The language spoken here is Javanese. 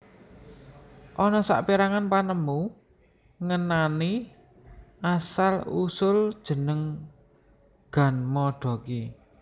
Ana saperangan panemu ngenani asal usul jeneng ganmodoki